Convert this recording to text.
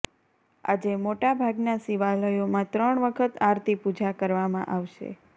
આજે મોટાભાગના શિવાલયોમાં ત્રણ વખત આરતી પૂજા કરવામાં આવશે